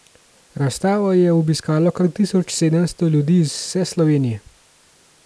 Razstavo je obiskalo kar tisoč sedemsto ljudi iz vse Slovenije.